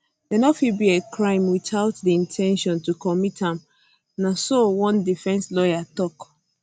dia um no fit be a crime without di in ten tion to commit am na so one defence lawyer tok